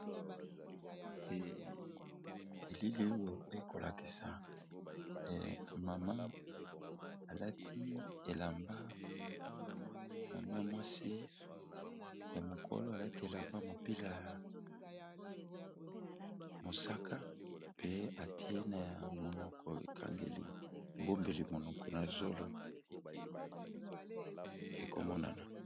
Elili oyo ekolakisa mama mama mwasi ya mokolo alati elamba mopila ya mosaka pe atie na monoko ekangeli ebombeli monoko na zolo ekomonana